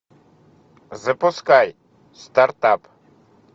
запускай стартап